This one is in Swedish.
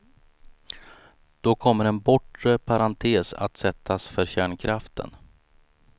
Då kommer en bortre parentes att sättas för kärnkraften.